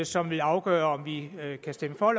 som vil afgøre om vi kan stemme for